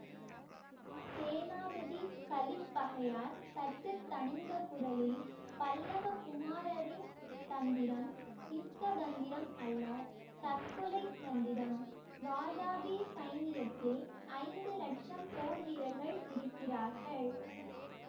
சேனாபதி கலிப்பகையார் சற்று தணிந்த குரலில் பல்லவ குமாரரின் தந்திரம் யுத்த தந்திரம் அல்ல தற்கொலை தந்திரம் வாதாபி சைனியத்தில் ஐந்து லட்சம் போர் வீரர்கள் இருக்கிறார்கள்